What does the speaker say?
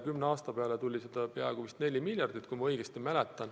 Kümne aasta peale on seda peaaegu vist 4 miljardit, kui ma õigesti mäletan.